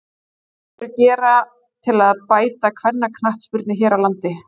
Hvað mundirðu gera til að bæta kvennaknattspyrnu hér á landi?